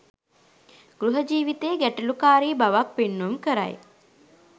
ගෘහ ජීවිතයේ ගැටලුකාරී බවක් පෙන්නුම් කරයි.